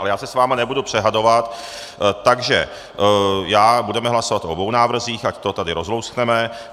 Ale já se s vámi nebudu přehádávat, takže budeme hlasovat o obou návrzích, ať to tady rozlouskneme.